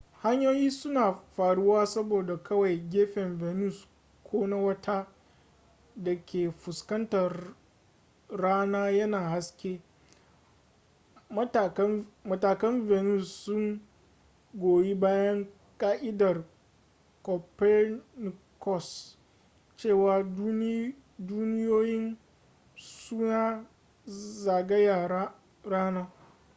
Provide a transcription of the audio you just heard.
hanyoyi suna faruwa saboda kawai gefen venus ko na wata da ke fuskantar rana yana haske. matakan venus sun goyi bayan ka'idar copernicus cewa duniyoyin suna zagaya rana